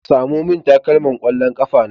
Samo min takalman ƙwallon ƙafa na